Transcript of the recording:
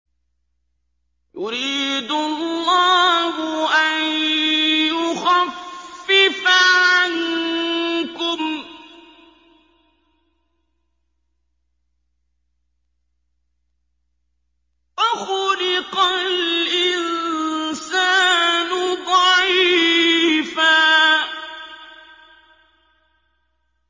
يُرِيدُ اللَّهُ أَن يُخَفِّفَ عَنكُمْ ۚ وَخُلِقَ الْإِنسَانُ ضَعِيفًا